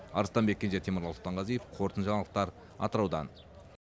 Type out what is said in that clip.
арыстанбек кенже темірлан сұлтанғазиев қорытынды жаңалықтар атыраудан